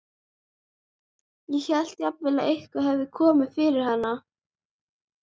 Ég hélt jafnvel að eitthvað hefði komið fyrir hann.